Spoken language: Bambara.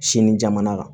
Sini jamana kan